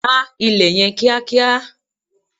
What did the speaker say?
gbá ilẹ̀ yen kiakia!